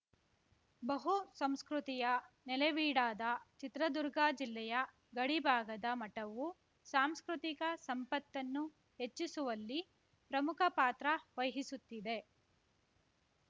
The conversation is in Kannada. ಬಹು ಸಂಸ್ಕೃತಿಯ ನೆಲೆವೀಡಾದ ಚಿತ್ರದುರ್ಗ ಜಿಲ್ಲೆಯ ಗಡಿ ಭಾಗದ ಮಠವು ಸಾಂಸ್ಕೃತಿಕ ಸಂಪತ್ತನ್ನು ಹೆಚ್ಚಿಸುವಲ್ಲಿ ಪ್ರಮುಖ ಪಾತ್ರವಹಿಸುತ್ತಿದೆ